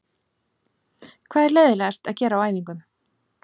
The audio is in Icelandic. Hvað er leiðinlegast að gera á æfingum?